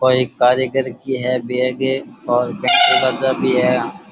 यो कोई कारीगर की है बैग --